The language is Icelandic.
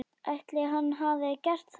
Ætli hann hafi gert það?